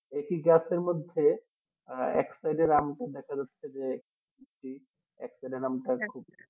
একটি গাছের মধ্যে এক side র আমটা দেখা যাচ্ছে যে এক side র আম